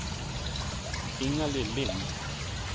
Ingalill Lindh